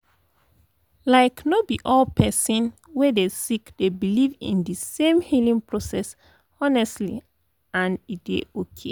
like no be all the person wey dey sick dey believe in de same healing process honestly and e dey okay